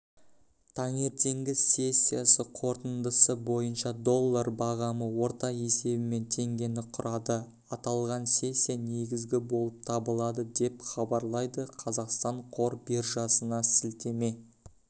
таңертеңгі сессиясы қорытындысы бойынша доллар бағамы орта есебімен теңгені құрады аталған сессия негізгі болып табылады деп хабарлайды қазақстан қор биржасына сілтеме